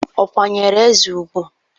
Ọ̀ kwanyeere eze ùgwù?